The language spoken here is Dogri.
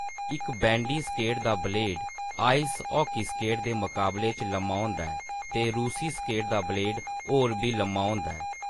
इक बैंडी स्केट दा ब्लेड आइस हॉकी स्केट दे मकाबले च लम्मा होंदा ऐ, ते "रूसी स्केट" दा ब्लेड होर बी लंबा होंदा ऐ।